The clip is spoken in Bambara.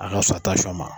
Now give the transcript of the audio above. A ka fisa ma